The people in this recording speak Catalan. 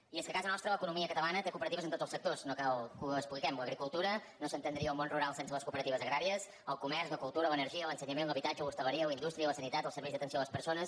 i és que a casa nostra l’economia catalana té cooperatives en tots els sectors no cal que ho expliquem l’agricultura no s’entendria el món rural sense les cooperatives agràries el comerç la cultura l’energia l’ensenyament l’habitatge l’hostaleria la indústria la sanitat els serveis d’atenció a les persones